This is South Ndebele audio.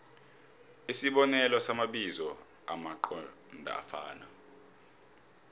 isibonelo samabizo amqondofana